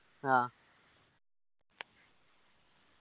ആ